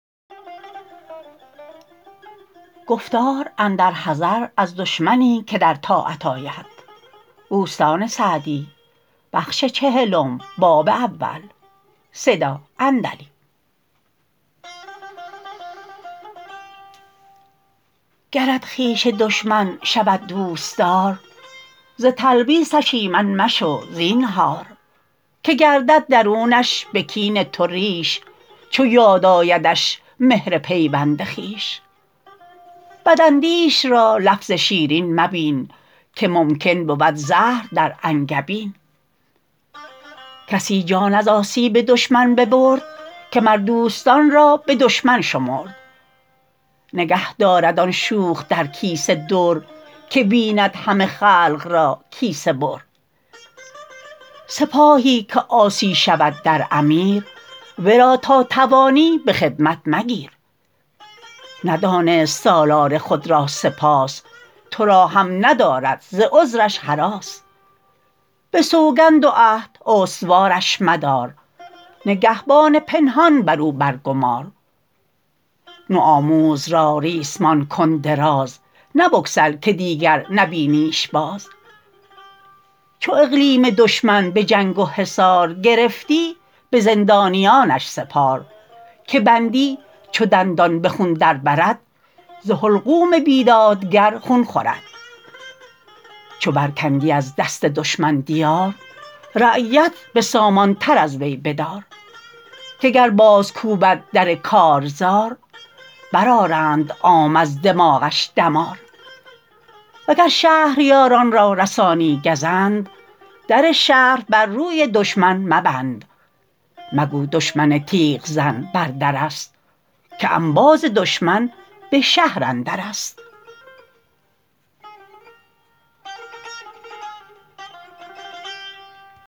گرت خویش دشمن شود دوستدار ز تلبیسش ایمن مشو زینهار که گردد درونش به کین تو ریش چو یاد آیدش مهر پیوند خویش بد اندیش را لفظ شیرین مبین که ممکن بود زهر در انگبین کسی جان از آسیب دشمن ببرد که مر دوستان را به دشمن شمرد نگه دارد آن شوخ در کیسه در که بیند همه خلق را کیسه بر سپاهی که عاصی شود در امیر ورا تا توانی به خدمت مگیر ندانست سالار خود را سپاس تو را هم ندارد ز غدرش هراس به سوگند و عهد استوارش مدار نگهبان پنهان بر او بر گمار نو آموز را ریسمان کن دراز نه بگسل که دیگر نبینیش باز چو اقلیم دشمن به جنگ و حصار گرفتی به زندانیانش سپار که بندی چو دندان به خون در برد ز حلقوم بیدادگر خون خورد چو بر کندی از دست دشمن دیار رعیت به سامان تر از وی بدار که گر باز کوبد در کارزار بر آرند عام از دماغش دمار وگر شهریان را رسانی گزند در شهر بر روی دشمن مبند مگو دشمن تیغ زن بر در است که انباز دشمن به شهر اندر است